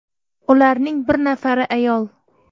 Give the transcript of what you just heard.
Ularning bir nafari ayol.